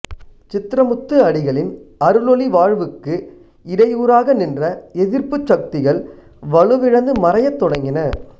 சித்ரமுத்து அடிகளின் அருளொளி வாழ்வுக்கு இடையூறாக நின்ற எதிர்ப்புச் சக்திகள் வலுவிழந்து மறையத் தொடங்கின